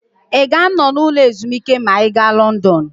Ị ga-anọ n'ụlọ ezumike ma ị gaa Lọndọnụ?